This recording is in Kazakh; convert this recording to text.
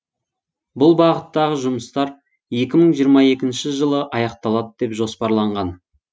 бұл бағыттағы жұмыстар екі мың жиырма екінші жылы аяқталады деп жоспарланған